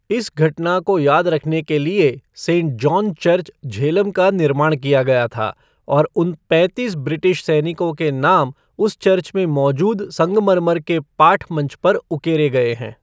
इस घटना को याद रखने के लिए सेंट जॉन चर्च झेलम का निर्माण किया गया था और उन पैंतीस ब्रिटिश सैनिकों के नाम उस चर्च में मौजूद संगमरमर के पाठ मंच पर उकेरे गए हैं।